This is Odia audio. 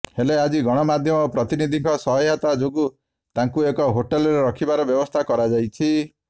ହେଲେ ଆଜି ଗଣମାଧ୍ୟମ ପ୍ରତିନିଧିଙ୍କ ସହାୟତା ଯୋଗୁଁ ତାଙ୍କୁ ଏକ ହୋଟେଲରେ ରଖିବାର ବ୍ୟବସ୍ଥା କରାଯାଇଛି